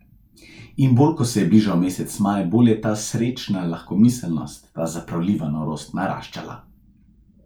In bolj ko se je bližal mesec maj, bolj je ta srečna lahkomiselnost, ta zapravljiva norost naraščala.